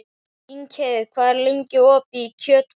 Ingheiður, hvað er lengi opið í Kjötborg?